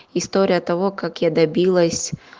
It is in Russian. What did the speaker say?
история того как я добилась